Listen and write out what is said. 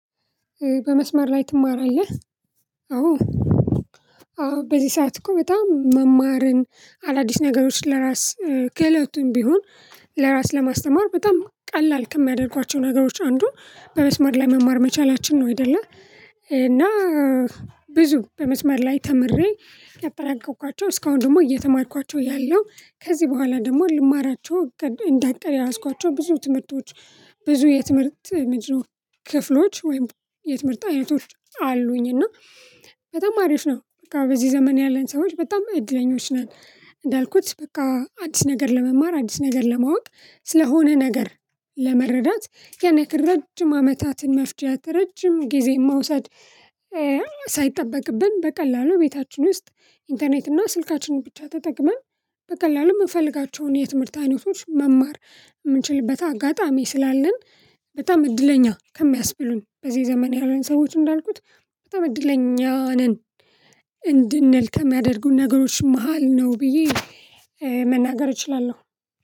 በመስመር ላይ ትማራለህ? አዎ አዎ በዚ ሰዓት እኮ በጣም መማርን አዳዲስ ነገሮች ለራስ ክእለቱም ቢሆን ለራስ ለማስተማር በጣም ቀላል ከሚያደርጓቸው ነገሮች አንዱ በመስማር ላይ መማር መቻላችን ነው። አይደለ እና ብዙ በመስማር ላይ ተምሬ ያጠራቀምኳቸው እስካሁን ደግሞ እየተማርኳቸው ያሉ ከዚህ በኋላ ደግሞ ልማራቸው እንደ አቅድ የያዝኳቸው ብዙ ትምህርቶች ብዙ የትምህርት ምንድነው? ክፍሎች ወይም የትምህርት አይነቶች አሉኝ። እና በጣም አሪፍ ነው። በቃ በዚህ ዘመን ያለን ሰዎች በጣም እድለኞች ነን። እንዳልኩት በቃ አዲስ ነገር ለመማር አዲስ ነገር ለማወቅ ስለሆነ ነገር ለመረዳት ያንያክል ረጅም አመታትን መፍጃት ረጅም ጊዜ መውሰድ። ሳይጠበቅብን በቀላሉ ቤታችን ውስጥ ኢንተርኔት እና ስልካችንን ብቻ ተጠቅመን በቀላሉ ምንፈልጋቸውን የትምህርት አይነቶች መማር ምንችልበት አጋጣሚ ስላለን። በጣም እድለኛ ከሚያስብሉን በዚህ ዘመን ያሉን ሰዎች እንዳልኩት በጣም እድለኛ ነን። እንድንል ከሚያደርጉን ነገሮች መሃል ነው ብዬ መናገር እችላለሁ።